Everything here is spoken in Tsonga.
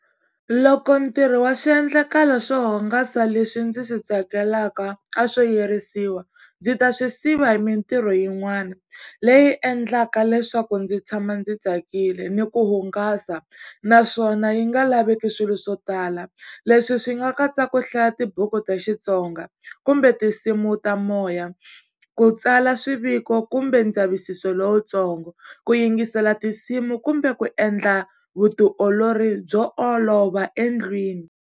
Loko ntirho wa swiendlakalo swo hungasa leswi ndzi swi tsakelaka a swo yirisiwa, ndzi ta swi siva hi mintirho yin'wana leyi endlaka leswaku ndzi tshama ndzi tsakile ni ku hungasa naswona yi nga laveki swilo swo tala. Leswi swi nga katsa ku hlaya tibuku ta Xitsonga kumbe tinsimu ta moya, ku tsala swiviko kumbe ndzavisiso lowutsongo, ku yingisela tinsimu kumbe ku endla vutiolori byo olova endlwini.